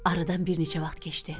Aradan bir neçə vaxt keçdi.